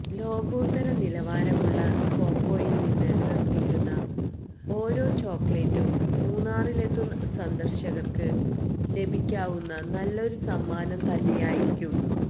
ലോകോത്തര നിലവാരമുള്ള കോക്കോയിൽ നിന്ന് നിർമ്മിക്കുന്ന ഒരോ ചോക്ലേറ്റും മുന്നാറിലെത്തുന്ന സന്ദർശകർക്ക് ലഭിക്കാവുന്ന നല്ലൊരു സമ്മാനം തന്നേയായിരിക്കും